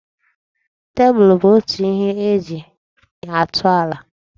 Tep bụ otu ihe eji atụ ala.